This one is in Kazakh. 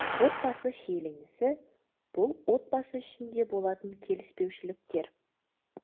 отбасы шиеленісі бұл отбасы ішінде болатын келіспеушіліктер